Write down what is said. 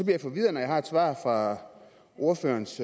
jeg forvirret når jeg har et svar fra ordførerens